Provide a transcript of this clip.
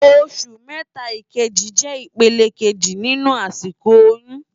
Óṣù mètá ikéjí jè ipélé ikéjí ninú àsikó óyùn